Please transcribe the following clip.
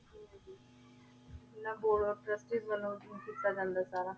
board of treasury ਵਲੋਂ ਕੀਤਾ ਜਾਂਦਾ ਆਯ ਸਾਰਾ